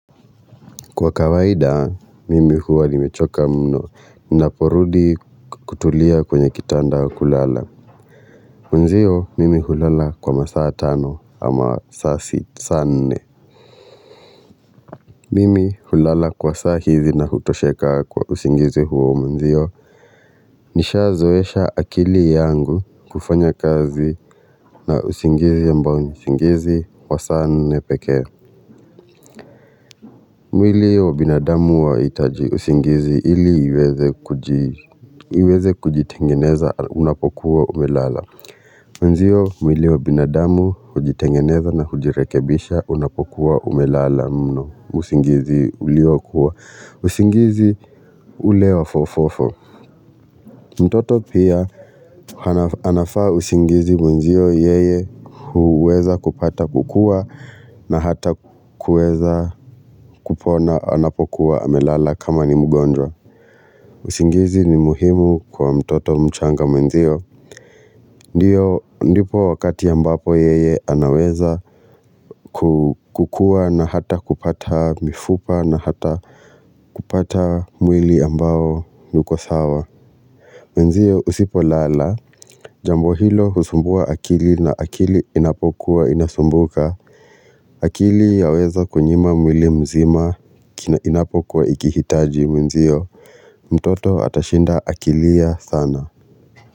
Kwa kawaida, mimi huwa nimechoka mno ninaporudi kutulia kwenye kitanda kulala. Mwanzio, mimi hulala kwa masaa tano ama saa si saa nne. Mimi hulala kwa saa hizi na hutosheka kwa usingizi huo mwanzio Nishazoesha akili yangu kufanya kazi na usingizi ambao ni usingizi wa saa nne pekee. Mwili wa binadamu huwa wahitaji usingizi ili iweze kujitengeneza unapokuwa umelala Mwanzio mwili wa binadamu hujitengeneza na kujirekebisha unapokuwa umelala mno usingizi uliokuwa usingizi ule wa fofofo mtoto pia anafaa usingizi mwanzio yeye huweza kupata kukua na hata kuweza kupona anapokuwa amelala kama ni mgonjwa usingizi ni muhimu kwa mtoto mchanga mwenzio Ndio ndipo wakati ambapo yeye anaweza kukua na hata kupata mifupa na hata kupata mwili ambao uko sawa Mwanzio usipolala Jambo hilo husumbua akili na akili inapokuwa inasumbuka akili yaweza kunyima mwili mzima inapokuwa ikihitaji mwenzio mtoto atashinda akilia sana.